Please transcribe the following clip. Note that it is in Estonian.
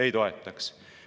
Ei toetaks.